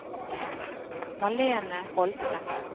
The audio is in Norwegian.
Malene Holte